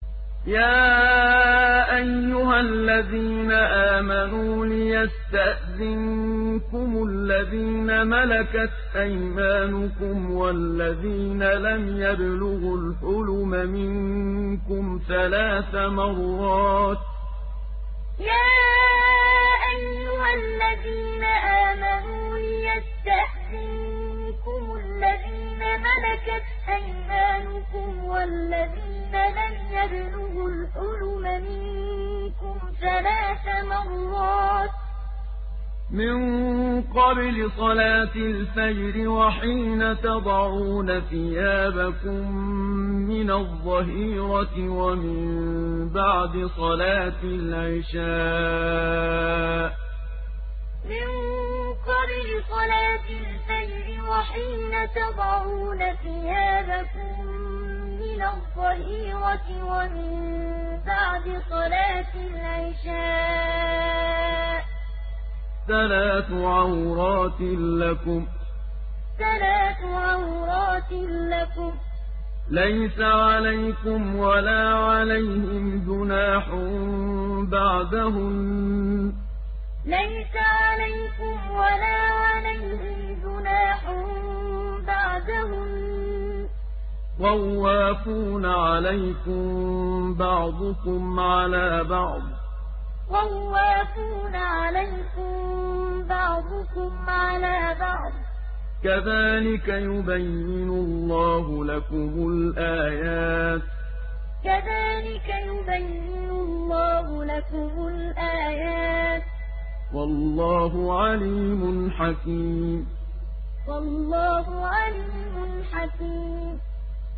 يَا أَيُّهَا الَّذِينَ آمَنُوا لِيَسْتَأْذِنكُمُ الَّذِينَ مَلَكَتْ أَيْمَانُكُمْ وَالَّذِينَ لَمْ يَبْلُغُوا الْحُلُمَ مِنكُمْ ثَلَاثَ مَرَّاتٍ ۚ مِّن قَبْلِ صَلَاةِ الْفَجْرِ وَحِينَ تَضَعُونَ ثِيَابَكُم مِّنَ الظَّهِيرَةِ وَمِن بَعْدِ صَلَاةِ الْعِشَاءِ ۚ ثَلَاثُ عَوْرَاتٍ لَّكُمْ ۚ لَيْسَ عَلَيْكُمْ وَلَا عَلَيْهِمْ جُنَاحٌ بَعْدَهُنَّ ۚ طَوَّافُونَ عَلَيْكُم بَعْضُكُمْ عَلَىٰ بَعْضٍ ۚ كَذَٰلِكَ يُبَيِّنُ اللَّهُ لَكُمُ الْآيَاتِ ۗ وَاللَّهُ عَلِيمٌ حَكِيمٌ يَا أَيُّهَا الَّذِينَ آمَنُوا لِيَسْتَأْذِنكُمُ الَّذِينَ مَلَكَتْ أَيْمَانُكُمْ وَالَّذِينَ لَمْ يَبْلُغُوا الْحُلُمَ مِنكُمْ ثَلَاثَ مَرَّاتٍ ۚ مِّن قَبْلِ صَلَاةِ الْفَجْرِ وَحِينَ تَضَعُونَ ثِيَابَكُم مِّنَ الظَّهِيرَةِ وَمِن بَعْدِ صَلَاةِ الْعِشَاءِ ۚ ثَلَاثُ عَوْرَاتٍ لَّكُمْ ۚ لَيْسَ عَلَيْكُمْ وَلَا عَلَيْهِمْ جُنَاحٌ بَعْدَهُنَّ ۚ طَوَّافُونَ عَلَيْكُم بَعْضُكُمْ عَلَىٰ بَعْضٍ ۚ كَذَٰلِكَ يُبَيِّنُ اللَّهُ لَكُمُ الْآيَاتِ ۗ وَاللَّهُ عَلِيمٌ حَكِيمٌ